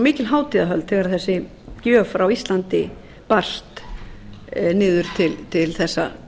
mikil hátíðahöld þegar þessi gjöf frá íslandi barst niður til þessa